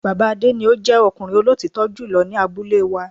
Bàbá Adé ni o jẹ́ ọkùnrin olótítọ́ jùlọ ni abúlé wa